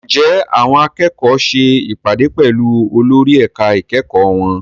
Ǹjẹ́ àwọn akẹ́kọ̀ọ́ ṣe ìpàdé pẹ̀lú olórí ẹ̀ka ìkẹ́kọ̀ọ́ wọn?